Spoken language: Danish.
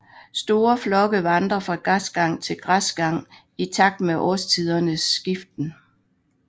Store flokke vandrer fra græsgang til græsgang i takt med årstidernes skiften